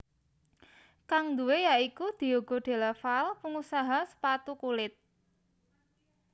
Kang duwé ya iku Diego Della Valle pengusaha sepatu kulit